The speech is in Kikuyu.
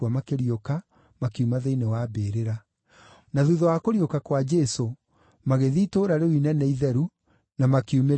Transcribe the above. makiuma thĩinĩ wa mbĩrĩra. Na thuutha wa kũriũka kwa Jesũ, magĩthiĩ itũũra rĩu inene itheru, na makiumĩrĩra andũ aingĩ.